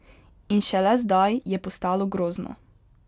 In šele zdaj je postalo grozno.